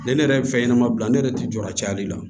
Ne ne yɛrɛ ye fɛn ɲɛnɛma bila ne yɛrɛ tɛ jɔ a cayali la